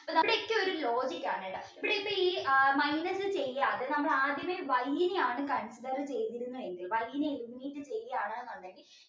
ഇവിടെയൊക്കെ ഒരു logic ആണ് കേട്ടോ ഇവിടെ ഇപ്പോൾ ഈ minus ചെയ്യാതെ നമ്മൾ ആദ്യമേ y നെ ആണ് കണ്ടത് ചെയ്തിരുന്നെങ്കിൽ ചെയ്യാണ് എന്നുണ്ടെങ്കിൽ